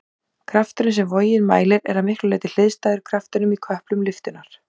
Krafturinn sem vogin mælir er að miklu leyti hliðstæður kraftinum í köplum lyftunnar.